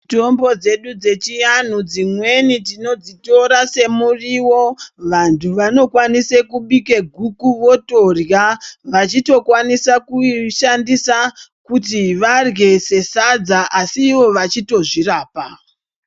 Mitombo dzedu dzechiantu tinodzitora semuriwo vantu vanokwanisa kubika guku votorya vachito kwanisa kuti vadye sesadza asi ivo vachito zvirapa.